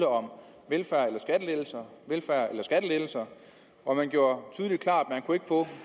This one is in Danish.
om velfærd eller skattelettelser og man gjorde